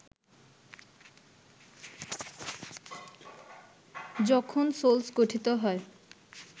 যখন সোলস গঠিত হয়